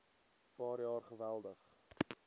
paar jaar geweldig